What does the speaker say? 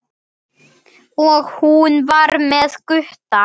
Og hún var með Gutta!